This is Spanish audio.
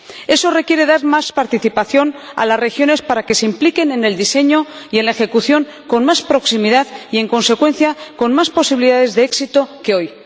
Eso requiere dar más participación a las regiones para que se impliquen en el diseño y en la ejecución con más proximidad y, en consecuencia, con más posibilidades de éxito que hoy.